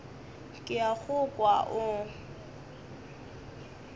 ke a go kwa o